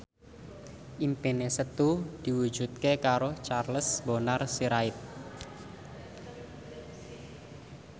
impine Setu diwujudke karo Charles Bonar Sirait